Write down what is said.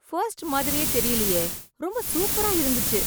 First மாதிரியே தெரியலையே, ரொம்ப சூப்பரா இருந்துஞ்சு!